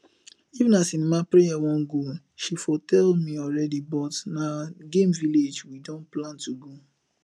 if na cinema preye wan go she for tell me already but na game village we don plan to go